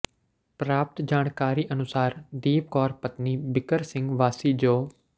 ਪ੍ਰਰਾਪਤ ਜਾਣਕਾਰੀ ਅਨੁਸਾਰ ਦੀਪ ਕੌਰ ਪਤਨੀ ਬਿੱਕਰ ਸਿੰਘ ਵਾਸੀ ਜੋ